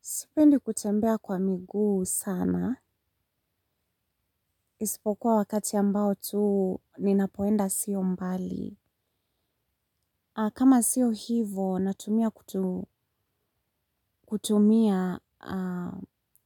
Sipendi kutembea kwa miguu sana, isipokuwa wakati ambao tu ninapoenda sio mbali. Kama sio hivo, natumia kutumia